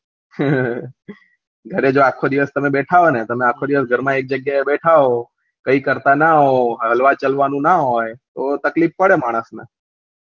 હ હ હ ઘરે જો આખો દિવસ તમે બેઠા હોય ને તમે આખા દિવસ ઘરમાં એક જગ્યા બેઠા હોય કઈ કરતા ના હોય હળવા ચાલવાનું ના હોય તો તકલીફ પડે માનસ ને